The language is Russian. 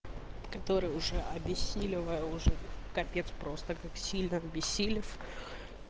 который уже объяснили вооружённых капец просто как сильно обессилев